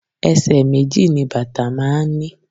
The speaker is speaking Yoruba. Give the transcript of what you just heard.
Ẹsẹ̀ méjì ni bàtà máa ń ní.